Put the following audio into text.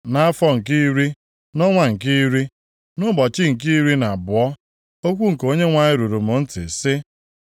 Nʼafọ nke iri, nʼọnwa nke iri, nʼụbọchị nke iri na abụọ, okwu nke Onyenwe anyị ruru m ntị, sị,